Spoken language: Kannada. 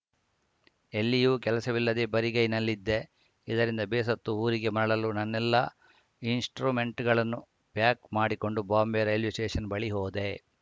ಎಲ್ಲಿಯೂ ಕೆಲಸವಿಲ್ಲದೆ ಬರಿಗೈನಲ್ಲಿದ್ದೆ ಇದರಿಂದ ಬೇಸತ್ತು ಊರಿಗೆ ಮರಳಲು ನನ್ನೆಲ್ಲಾ ಇನ್ಸ್ಟ್ರುಮೆಂಟ್‌ಗಳನ್ನು ಪ್ಯಾಕ್‌ ಮಾಡಿಕೊಂಡು ಬಾಂಬೆ ರೈಲ್ವೆ ಸ್ಟೇಷನ್‌ ಬಳಿ ಹೋದೆ